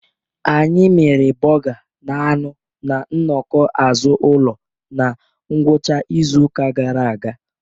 Anyị miri burga na anu na nnọkọ azụ ụlo na ngwụcha izu ụka gara aga.